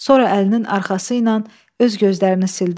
Sonra əlinin arxası ilə öz gözlərini sildi.